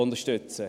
Besten Dank.